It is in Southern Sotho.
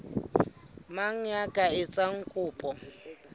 mang ya ka etsang kopo